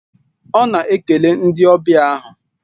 Ọ na-ekele ndị ọbịa ahụ